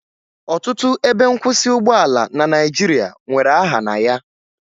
Ọtụtụ ebe nkwụsị ụgbọala na Naijiria nwere aha na ya